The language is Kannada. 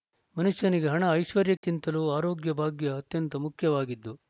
ಮನುಷ್ಯನಿಗೆ ಹಣ ಐಶ್ವರ್ಯಕ್ಕಿಂತಲೂ ಆರೋಗ್ಯ ಭಾಗ್ಯ ಅತ್ಯಂತ ಮುಖ್ಯವಾಗಿದ್ದು